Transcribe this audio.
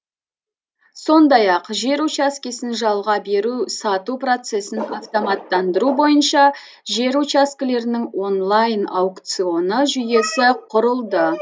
сондай ақ жер учаскесін жалға беру сату процесін автоматтандыру бойынша жер учаскелерінің онлайн аукционы жүйесі құрылды